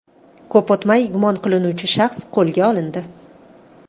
Ko‘p o‘tmay gumon qilinuvchi shaxs qo‘lga olindi.